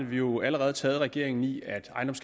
vi jo allerede taget regeringen i